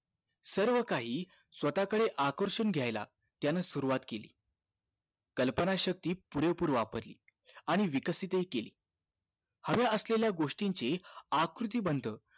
म्हणजे सर्व काही स्वतःकडे आकर्षण घ्याला त्यानं सुरवात केली कल्पना शक्ती पुरेपूर वापरली आणि विकसित हि केली हव्या असलेल्या गोष्टीची आकृती बंध